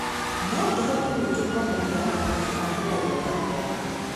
No tũhote ningĩ kũamũkĩra athki a tene gũka kũaria.